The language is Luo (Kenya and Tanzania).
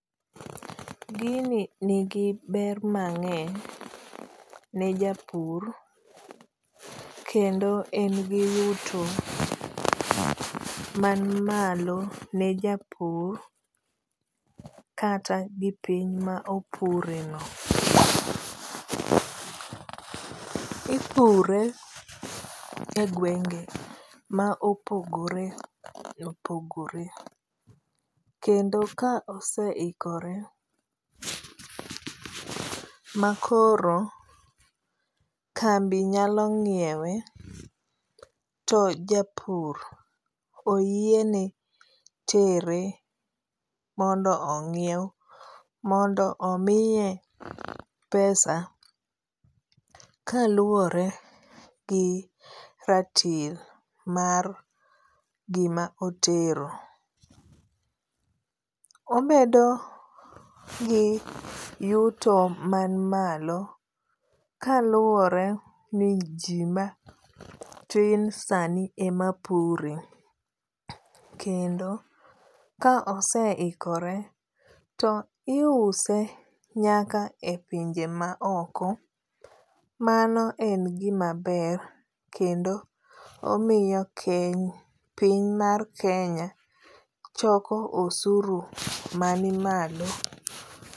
Gini nigi ber mang'eny ne japur kendo en gi yuto man malo ne japur kata gi piny ma opureno. Ipure egwenge ma opogore opogore kendo ka oseikore makoro kambi nyalo ng'iewe to japur oyiene tere mondo ong'iew mondo omiye pesa kaluwore gi ratil mar gima otero. Obedo gi yuto man malo kaluwore ni ji matin sani ema pure kendo ka oseikore to iuse nyaka e pinje maoko. Mano en gima ber kendo omiyo piny mar Kenya choko osuru man malo.